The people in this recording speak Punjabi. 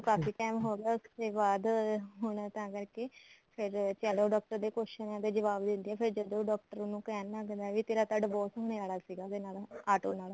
ਕਾਫੀ time ਹੋ ਗਿਆ ਉਸ ਤੇ ਬਾਅਦ ਹੁਣ ਉਹ ਤਾਂ ਕਰਕੇ ਫੇਰ ਚਲੋ ਡਾਕਟਰ ਦੇ question ਦੇ ਜਵਾਬ ਦਿੰਦੇ ਐ ਫੇਰ ਜਦੋਂ doctor ਉਹਨੂੰ ਕਹਿਣ ਲੱਗ ਜਾਂਦਾ ਵੀ ਤੇਰਾ ਤਾਂ divorce ਹੋਣੇ ਵਾਲਾ ਸੀਗਾ ਉਹਦੇ ਨਾਲ ਆਟੋ ਨਾਲ